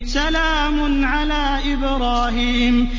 سَلَامٌ عَلَىٰ إِبْرَاهِيمَ